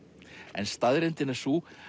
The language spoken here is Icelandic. en staðreyndin er sú